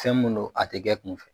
Fɛn mun don a tɛ kɛ kun fɛ.